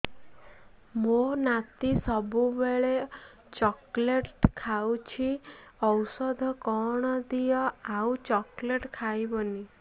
ମୋ ନାତି ସବୁବେଳେ ଚକଲେଟ ଖାଉଛି ଔଷଧ କଣ ଦିଅ ଆଉ ଚକଲେଟ ଖାଇବନି